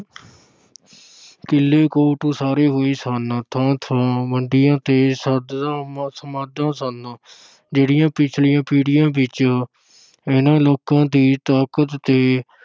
ਕਿਲ੍ਹੇ ਕੋਟ ਉਸਾਰੇ ਹੋਏ ਸਨ, ਥਾਂ-ਥਾਂ ਤੇ ਸਮਾਧਾਂ ਸਨ ਜਿਹੜੀਆਂ ਪਿਛਲੀਆਂ ਪੀੜ੍ਹੀਆਂ ਵਿੱਚ ਇਹਨਾਂ ਲੋਕਾਂ ਦੀ ਤਾਕਤ ਤੇ